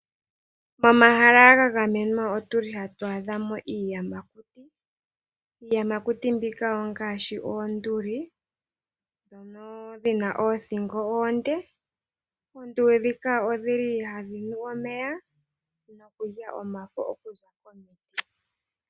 Pomahala ga gamenwa otuli hatu adhamo iiyamakuti. iiyamakuti mbika ngaaahi oonduli ndhono dhina oothingo oonde dho ohadhi nu omeya nokulya omafo.